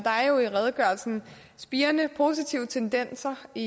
jo i redegørelsen spirende positive tendenser i